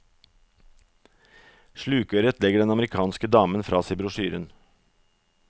Slukøret legger den amerikanske damen fra seg brosjyren.